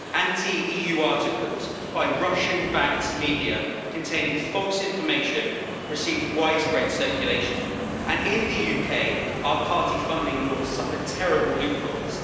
Anti EU articles by Russian backed media containing false information received widespread circulation, and in the UK our party funding laws suffer terrible loopholes.